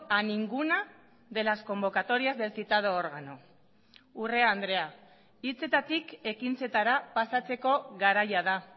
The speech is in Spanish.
a ninguna de las convocatorias del citado órgano urrea andrea hitzetatik ekintzetara pasatzeko garaia da